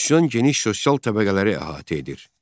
Üsyan geniş sosial təbəqələri əhatə edir.